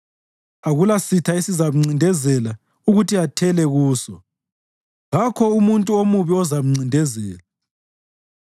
Akulasitha esizamncindezela ukuthi athele kuso; kakho umuntu omubi ozamcindezela.